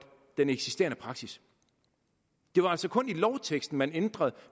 den eksisterende praksis det var altså kun i lovteksten man ændrede